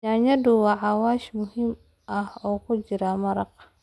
Yaanyadu waa xawaash muhiim ah oo ku jira maraq.